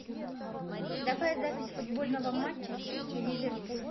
давай запись футбольного матча сити ливерпуль